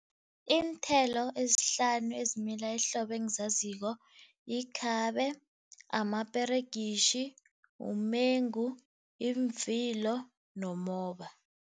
Iinthelo ezihlanu ezimila ehlobo engizaziko yikhabe, amaperegitjhi, umengu, yimvilo nomoba.